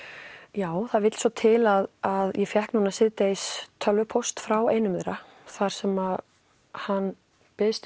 já það vill svo til að að ég fékk núna síðdegis tölvupóst frá einum þeirra þar sem hann biðst